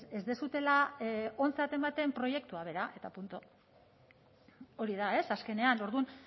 ez duzuela ontzat ematen proiektua bera eta punto hori da azkenean orduan